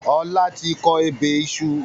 Ọlá tí kọ ebè iṣu